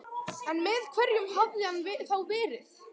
En með hverjum hafði hann þá verið?